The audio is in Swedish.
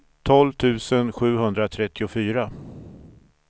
tolv tusen sjuhundratrettiofyra